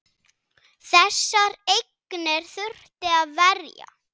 Þessar eignir þurfti að verja.